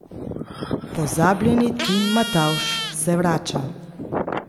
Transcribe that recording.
Pozabljeni Tim Matavž se vrača!